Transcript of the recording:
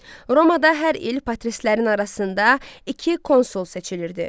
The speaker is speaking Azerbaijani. Romada hər il patristlərin arasında iki konsul seçilirdi.